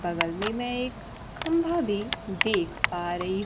बगल में मैं एक खंभा भी देख पा रही--